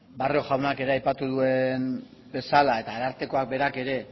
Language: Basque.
barrio jaunak ere aipatu duen bezala eta arartekoak berak ere